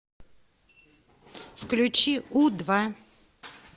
включи у два